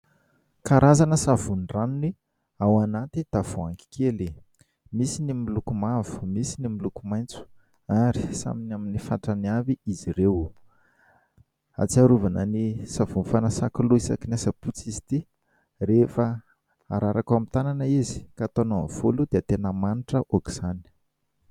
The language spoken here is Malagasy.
Karazana savony ranony ao anaty tavoahangy kely. Misy ny miloko mavo, misy ny miloko maitso ary samy ny amin'ny fatrany avy izy ireo. Ahatsiarovana ny savony fanasako loha isakin'ny asabotsy izy ity ; rehefa hararaka ao amin'ny tanana izy ka hatao amin'ny volo dia tena manitra aoka izany.